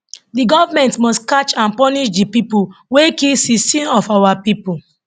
di government must catch and punish di people wey kill 16 of our pipo